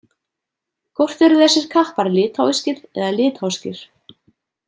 Hvort eru þessir kappar litháískir eða litháskir?